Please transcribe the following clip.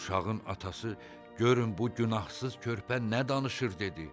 Uşağın atası, görün bu günahsız körpə nə danışır dedi.